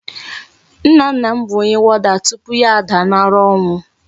Nna nna m bu Onye warder tupu ya a daa na ura onwu